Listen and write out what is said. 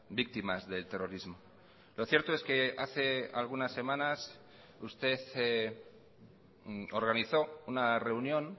víctimas del terrorismo lo cierto es que hace algunas semanas usted organizó una reunión